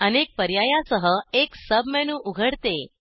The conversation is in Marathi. अनेक पर्यायासह एक sub मेनू उघडते